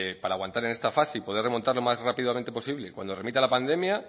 para aguantar en esta fase y poder remontar lo más rápidamente posible cuando remita la pandemia